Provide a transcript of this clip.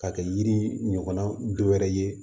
K'a kɛ yiri ɲɔgɔnna dɔ wɛrɛ ye